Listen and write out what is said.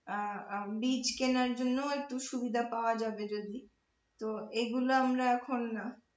আহ আমাদের বীজ কেনার জন্য একটু সুবিধা পাওয়া যাবে যদি তো এইগুলো আমরা এখন